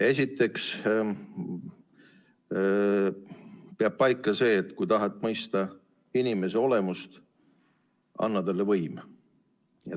Esiteks peab paika see, et kui tahad mõista inimese olemust, anna talle võim.